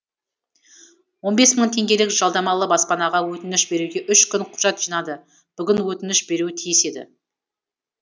он бес мың теңгелік жалдамалы баспанаға өтініш беруге үш күн құжат жинады бүгін өтініш беруі тиіс еді